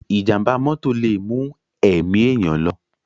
Ìjàm̀bá mọ́tò lè mú ẹ̀mí èèyàn lọ.